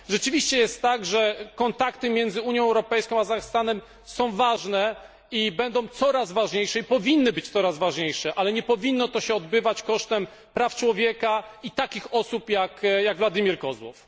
Rzeczywiście jest tak, że kontakty między Unią Europejską, a Kazachstanem są ważne i będą coraz ważniejsze i powinny być coraz ważniejsze, ale nie powinno to się odbywać kosztem praw człowieka i takich osób jak Władimir Kozłow.